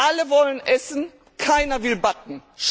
Alle wollen essen, keiner will backen.